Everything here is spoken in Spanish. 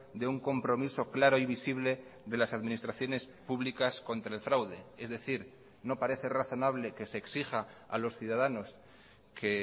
de un compromiso claro y visible de las administraciones públicas contra el fraude es decir no parece razonable que se exija a los ciudadanos que